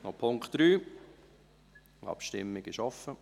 Noch zu Punkt 3: Die Abstimmung ist offen.